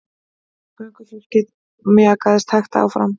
Göngufólkið mjakaðist hægt áfram.